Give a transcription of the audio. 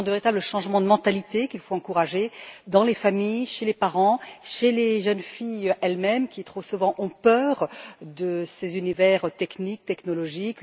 Ce sont de véritables changements de mentalité qu'il faut encourager dans les familles, chez les parents, chez les jeunes filles, elles mêmes, qui ont trop souvent peur de ces univers techniques et technologiques.